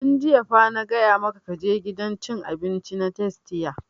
Tun jiya fa na gaya maka ka je gidan cin abinci na tastia!